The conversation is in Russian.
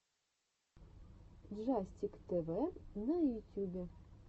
джастик тэвэ на ютюбе